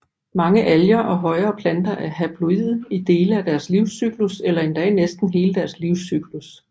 Mange alger og højere planter er haploide i dele af deres livscyklus eller endda i næsten hele deres livscyklus